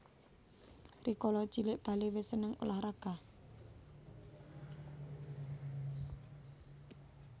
Rikala cilik Bale wis seneng ulah raga